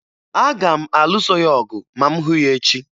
Aga m alụso ya ọgụ ma m hụ ya echi